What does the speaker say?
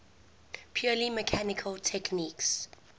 purely mechanical techniques